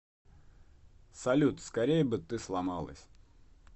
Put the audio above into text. салют скорей бы ты сломалась